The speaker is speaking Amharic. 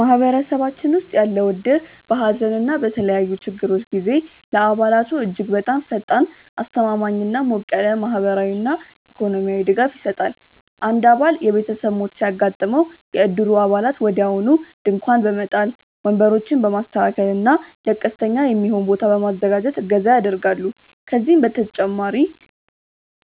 ማህበረሰባችን ውስጥ ያለው እድር በሐዘን እና በተለያዩ ችግሮች ጊዜ ለአባላቱ እጅግ በጣም ፈጣን፣ አስተማማኝ እና ሞቅ ያለ ማህበራዊና ኢኮኖሚያዊ ድጋፍ ይሰጣል። አንድ አባል የቤተሰብ ሞት ሲያጋጥመው፣ የእድሩ አባላት ወዲያውኑ ድንኳን በመጣል፣ ወንበሮችን በማስተካከል እና ለቀስተኛ የሚሆን ቦታ በማዘጋጀት እገዛ ያደርጋሉ። ከዚህም በተጨማሪ